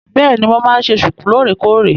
Bẹ́èni, mo máa ń ṣe ṣùkú lóòrèkóòrè.